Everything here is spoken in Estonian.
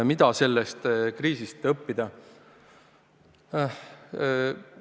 Mida sellest kriisist õppida?